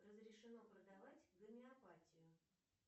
разрешено продавать гомеопатию